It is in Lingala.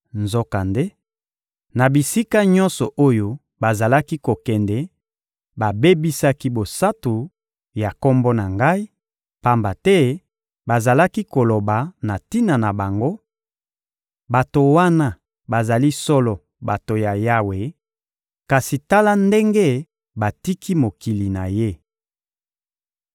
Nzokande, na bisika nyonso oyo bazalaki kokende, babebisaki bosantu ya Kombo na Ngai, pamba te bazalaki koloba na tina na bango: ‹Bato wana bazali solo bato ya Yawe, kasi tala ndenge batiki mokili na Ye!›